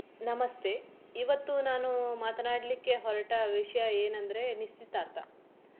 ನಮಸ್ತೆ ಇವತ್ತು ನಾನು ಮಾತನಾಡ್ಲಿಕ್ಕೆ ಹೊರಟ ವಿಷಯ ಏನಂದ್ರೆ ನಿಶ್ಚಿತಾರ್ಥ.